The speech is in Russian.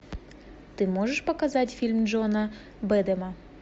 ты можешь показать фильм джона бэдэма